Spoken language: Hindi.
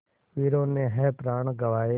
वीरों ने है प्राण गँवाए